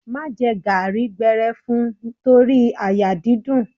Má jẹ garri gbẹrẹfun torí àyà dídùn.